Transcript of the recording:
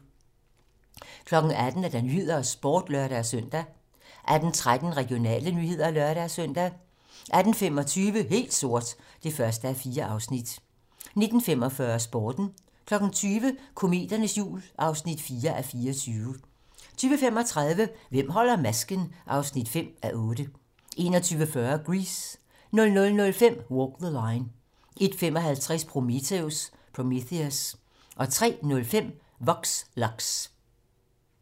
18:00: 18 Nyhederne og Sporten (lør-søn) 18:13: Regionale nyheder (lør-søn) 18:25: Helt sort (1:4) 19:45: Sporten 20:00: Kometernes jul (4:24) 20:35: Hvem holder masken? (5:8) 21:40: Grease 00:05: Walk the Line 01:55: Prometheus 03:05: Vox Lux